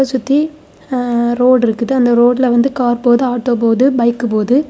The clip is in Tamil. இத சுத்தி ரோடு இருக்குது அந்த ரோட்ல கார் போது ஆட்டோ போது பைக் போது.